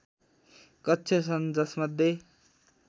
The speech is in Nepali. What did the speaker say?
कक्ष छन् जसमध्ये